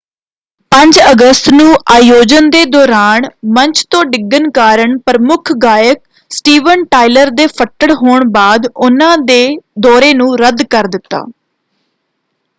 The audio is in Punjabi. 5 ਅਗਸਤ ਨੂੰ ਅਯੋਜਨ ਦੇ ਦੌਰਾਨ ਮੰਚ ਤੋਂ ਡਿੱਗਣ ਕਾਰਨ ਪ੍ਰਮੁੱਖ ਗਾਇਕ ਸਟੀਵਨ ਟਾਇਲਰ ਦੇ ਫੱਟੜ ਹੋਣ ਬਾਅਦ ਉਨ੍ਹਾਂ ਨੇ ਦੌਰੇ ਨੂੰ ਰੱਦ ਕਰ ਦਿੱਤਾ।